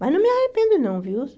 Mas não me arrependo, não, viu?